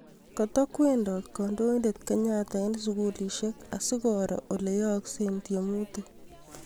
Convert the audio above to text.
Kootokweendoot kandoindeet kenyatta eng' sugulisiek asikooro ole yaakse tiemuutisiek